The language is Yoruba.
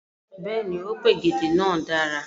Bẹẹni, o p'ògèdè náà dára.